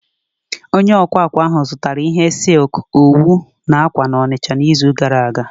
Onye akwa akwa ahụ zụtara ihe silk, owu na akwa akwa na Onicha n'izu gara aga